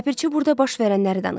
Ləpirçi burada baş verənləri danışdı.